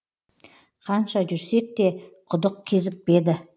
қанша жүрсек те құдық кезікпеді